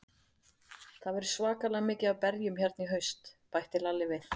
Það verður svakalega mikið af berjum hérna í haust, bætti Lalli við.